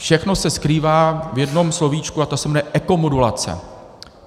Všechno se skrývá v jednom slovíčku a to se jmenuje ekomodulace.